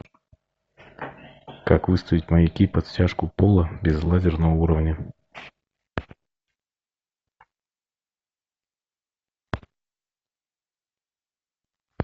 как выставить маяки под стяжку пола без лазерного уровня